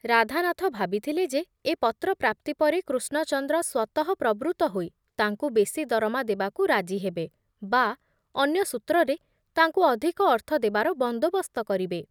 ରାଧାନାଥ ଭାବିଥିଲେ ଯେ ଏ ପତ୍ର ପ୍ରାପ୍ତି ପରେ କୃଷ୍ଣଚନ୍ଦ୍ର ସ୍ବତଃପ୍ରବୃତ୍ତ ହୋଇ ତାଙ୍କୁ ବେଶି ଦରମା ଦେବାକୁ ରାଜି ହେବେ ବା ଅନ୍ୟ ସୂତ୍ରରେ ତାଙ୍କୁ ଅଧିକ ଅର୍ଥ ଦେବାର ବନ୍ଦୋବସ୍ତ କରିବେ ।